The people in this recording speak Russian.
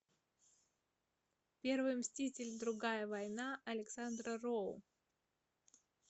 первый мститель другая война александра роу